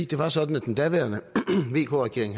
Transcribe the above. det var sådan at den daværende vk regering